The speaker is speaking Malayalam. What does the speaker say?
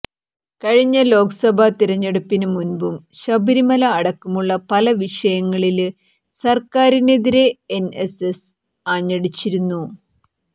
കഴിഞ്ഞ ലോക്സഭാ തിരഞ്ഞെടുപ്പിന് മുമ്പും ശബരിമല അടക്കമുള്ള പല വിഷങ്ങളില് സര്ക്കാറിനെതിരെ എന് എസ് എസ് ആഞ്ഞടിച്ചിരുന്നു